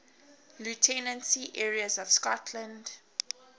lieutenancy areas of scotland